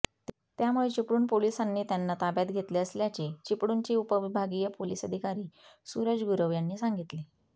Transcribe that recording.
त्यामुळे चिपळूण पोलिसांनी त्यांना ताब्यात घेतले असल्याचे चिपळूणचे उपविभागीय पोलिस अधिकारी सूरज गुरव यांनी सांगितले